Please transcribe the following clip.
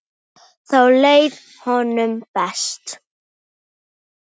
Þá leið honum best.